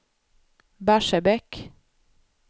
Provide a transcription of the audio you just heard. Barsebäck